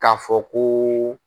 K'a fɔ kooo.